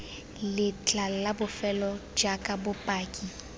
letlha la bofelo jaaka bopaki